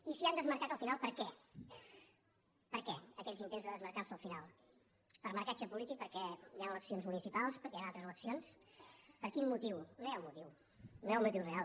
i se n’han desmarcat al final per què per què aquests intents de desmarcar se’n al final per marcatge polític perquè hi han eleccions municipals perquè hi han altres eleccions per quin motiu no hi ha un motiu no hi ha un motiu real